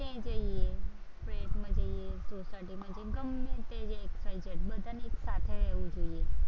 flat માં જઈએ, society માં જઈએ, ગમે તે જઈએ XYZ, બધાને એક સાથે રહેવું જોઈએ.